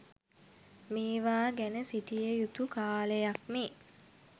මේවා ගැන සිටිය යුතු කාලයක් මේ.